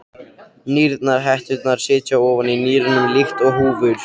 Nýrnahetturnar sitja ofan á nýrunum líkt og húfur.